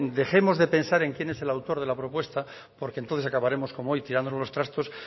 dejemos de pensar en quién es el autor de la propuesta porque entonces acabaremos como hoy tirándonos los trastos